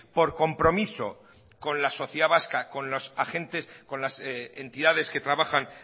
por compromiso con la sociedad vasca con los agentes con las entidades que trabajan